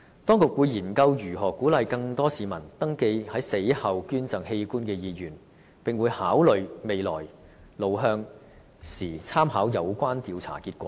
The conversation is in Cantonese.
當局會研究如何鼓勵更多市民登記在死後捐贈器官的意願，並會在考慮未來路向時，參考有關調查的結果。